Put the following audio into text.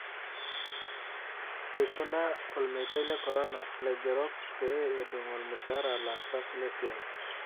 Eikuna olmeitai le korona laigerok pee edung'olmushaara laasak lesiai.